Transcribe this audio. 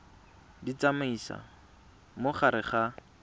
di tsamaisa mo gare ga